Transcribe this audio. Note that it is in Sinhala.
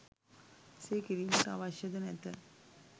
එසේ කිරීමට අවශ්‍ය ද නැත